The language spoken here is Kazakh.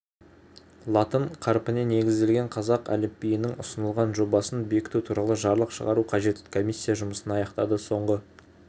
латын қарпіне негізделген қазақ әліпбиінің ұсынылған жобасын бекіту туралы жарлық шығару қажет комиссия жұмысын аяқтады соңғы